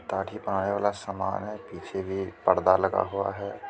वाला समान है पीछे भी एक पर्दा लगा हुआ है।